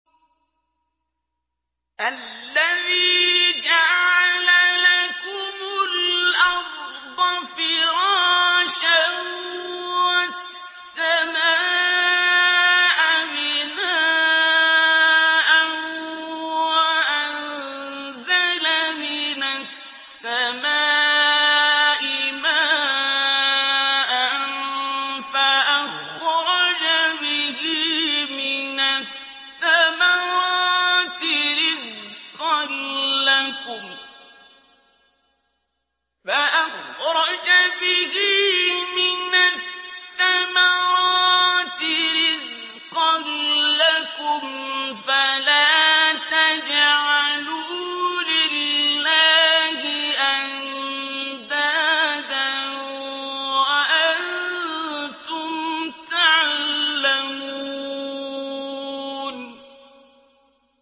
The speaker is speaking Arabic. الَّذِي جَعَلَ لَكُمُ الْأَرْضَ فِرَاشًا وَالسَّمَاءَ بِنَاءً وَأَنزَلَ مِنَ السَّمَاءِ مَاءً فَأَخْرَجَ بِهِ مِنَ الثَّمَرَاتِ رِزْقًا لَّكُمْ ۖ فَلَا تَجْعَلُوا لِلَّهِ أَندَادًا وَأَنتُمْ تَعْلَمُونَ